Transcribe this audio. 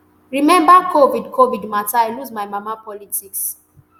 remember covid covid mata i lose my mama politics